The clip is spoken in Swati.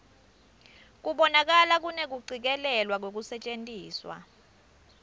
kubonakala kunekucikelelwa kwekusetjentiswa